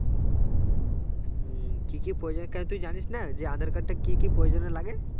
উম কি কি প্রয়োজনে কেন তুই জানিস না যে আধার কার্ডটা কি কি প্রয়োজনে লাগে